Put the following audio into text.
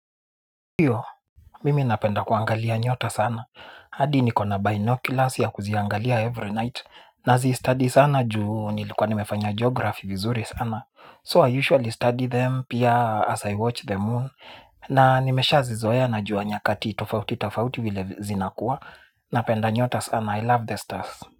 Hiyo, mimi napenda kuangalia nyota sana. Hadi ni kona binoculars ya kuziangalia every night. Na zistudy sana juu nilikuwa nimefanya geografi vizuri sana. So I usually study them pia as I watch the moon. Na nimesha zizoea na jua nyakati tofauti tofauti vile zinakuwa. Napenda nyota sana. I love the stars.